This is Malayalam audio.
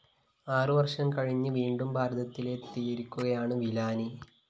ആറുവര്‍ഷം കഴിഞ്ഞ് വീണ്ടും ഭാരതത്തിലെത്തിയിരിക്കുകയാണ് വിലാനി